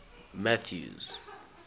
mathews